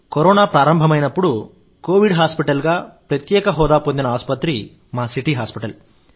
corona ప్రారంభమైనప్పుడు covid hospital గా ప్రత్యేక హోదా పొందిన ఆసుపత్రి మా సిటీ హాస్పిటల్